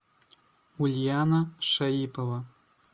ульяна шаипова